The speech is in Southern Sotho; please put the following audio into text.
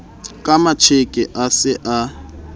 ka matjeke a se a